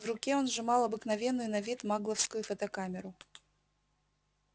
в руке он сжимал обыкновенную на вид магловскую фотокамеру